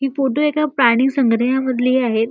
हि फोटो एका प्राणी संग्रलायमधली आहेत.